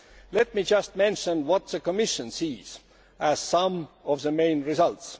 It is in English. Let me just mention what the Commission sees as some of the main results.